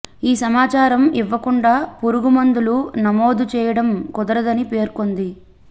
ఈ సమాచారం ఇవ్వకుండా పురుగు మందులు నమోదు చేయడం కుదరదని పేర్కొంది